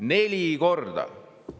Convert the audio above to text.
Neli korda!